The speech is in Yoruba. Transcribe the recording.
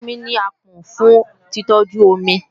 Ràkúnmí ní àpọ̀n fún títọ́jú omi